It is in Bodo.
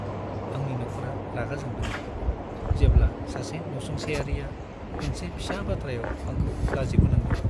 आंनि नखरा रागा जोंदोंमोन, जेब्ला सासे नसुंसेयारिआ मोनसे फिसा बाथ्रायाव आंखौ लाजि फोनांदोंमोन।